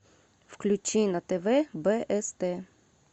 включи на тв бст